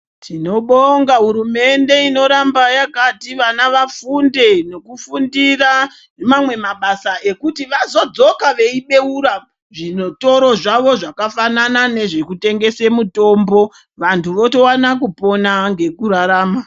Tinobonga hurumende inoramba yakati vana vafunde nekufundira mamwe mabasa ekuti vazodzoka veibeura zvitoro zvawo zvakafanana nezvekutengese mutombo vantu votowana kupona ngekurarama.